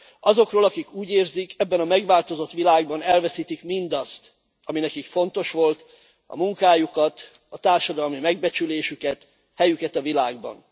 Azokról, akik úgy érzik, ebben a megváltozott világban elveszítik mindazt, ami nekik fontos volt, a munkájukat, a társadalmi megbecsülésüket, helyüket a világban.